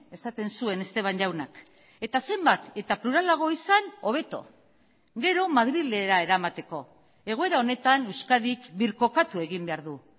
esaten zuen esteban jaunak eta zenbat eta pluralago izan hobeto gero madrilera eramateko egoera honetan euskadik birkokatu egin behar du